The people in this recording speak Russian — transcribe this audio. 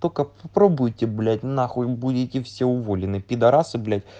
только попробуйте блять на хуй будете все уволены пидорасы блять